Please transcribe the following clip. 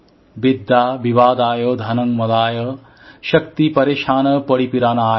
বিদ্যা বিবাদায় ধনং মদায় শক্তিঃ পরেশান পরিপীডনায়